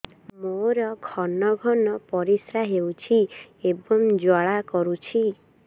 ମୋର ଘନ ଘନ ପରିଶ୍ରା ହେଉଛି ଏବଂ ଜ୍ୱାଳା କରୁଛି